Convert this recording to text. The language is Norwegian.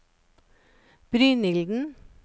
Brynilden